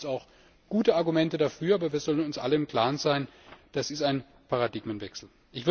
Ich denke, da gibt es auch gute Argumente dafür, aber wir sollten uns alle im Klaren sein, das ist ein Paradigmenwechsel.